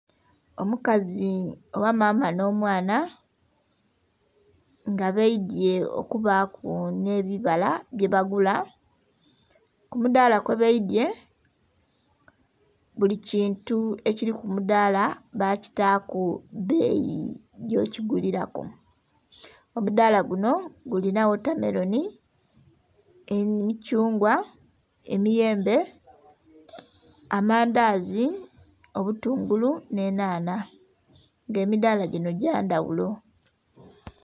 Omukazi oba maama on'omwana nga baidhye okubaku n'ebibala byebagula kumudhala kwebaidye buli kintu ekiri kumudhala bakitaku beyi gyokiguliraku, omudhala gunho gulina watameroni, emithungwa, emiyembe, amandhazi, obutungulu, n'enhanha nga emidhala gino gyandhaghulo.